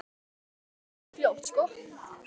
Við verðum að vinna stríðið fljótt.